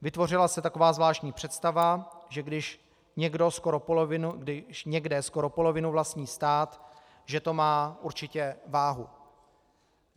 Vytvořila se taková zvláštní představa, že když někde skoro polovinu vlastní stát, že to má určitě váhu.